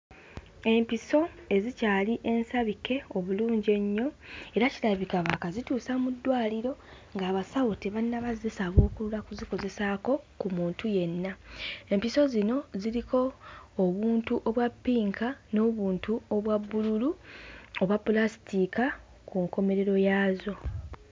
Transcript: Empiso ezikyali ensabike obulungi ennyo era kirabika baakazituusa mu ddwaliro ng'abasawo tebannaba kuzisabuukulula kuzikozesaako ku muntu yenna empiso zino ziriko obuntu obwa ppinka n'obuntu obwa bbululu obwa pulasitiika ku nkomerero yaazo.